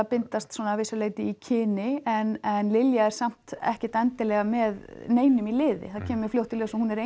bindast að vissu leyti í kyni en Lilja er samt ekkert endilega með neinum í liði það kemur fljótt í ljós að hún er